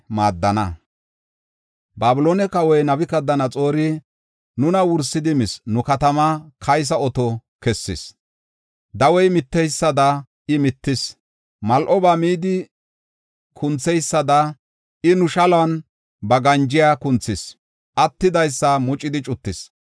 Babiloone kawoy Nabukadanaxoori nuna wursidi mis; nu katamaa kaysa oto kessis. Dawey mitteysada iya mittis; mal7oba midi kuntheysada I nu shaluwan ba ganjiya kunthis; attidaysa mucidi cuttis.